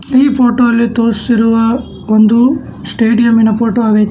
ಈ ಫೋಟೊ ಅಲ್ಲಿ ತೋರಿಸಿರುವ ಒಂದು ಸ್ಟೇಡಿಯಂಮಿನ ಪೋಟೋ ಆಗೈತೆ.